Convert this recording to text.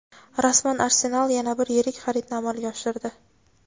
Rasman: "Arsenal" yana bir yirik xaridni amalga oshirdi.